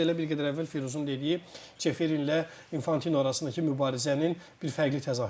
Bu da elə bir qədər əvvəl Firuzun dediyi Çeferinlə Infantino arasındakı mübarizənin bir fərqli təzahürüdür.